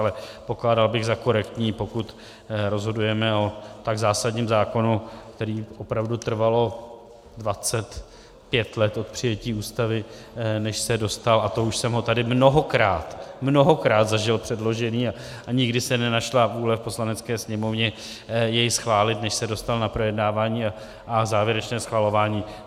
Ale pokládal bych za korektní, pokud rozhodujeme o tak zásadním zákonu, který opravdu trvalo 25 let od přijetí Ústavy, než se dostal, a to už jsem ho tady mnohokrát, mnohokrát zažil předložený a nikdy se nenašla vůle v Poslanecké sněmovně jej schválit, než se dostal na projednávání a závěrečné schvalování.